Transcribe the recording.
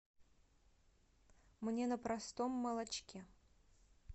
мне на простом молочке